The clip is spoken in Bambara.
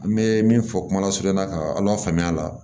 An bɛ min fɔ kuma lasurunya ka ala faamuya a la